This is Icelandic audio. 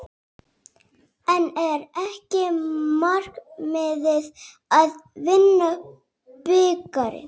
En er ekki markmiðið að vinna bikarinn?